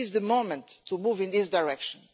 This is the moment to move in this direction.